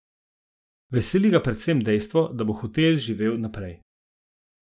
Veseli ga predvsem dejstvo, da bo hotel živel naprej.